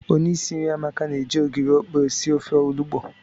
Onye isi nri Amaka na-eji ogiri okpe esi ofe olugbo.